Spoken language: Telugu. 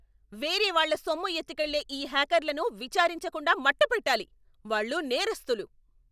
వేరేవాళ్ళ సొమ్ము ఎత్తుకెళ్లే ఈ హ్యాకర్లను విచారించకుండా మట్టుపెట్టాలి. వాళ్ళు నేరస్తులు.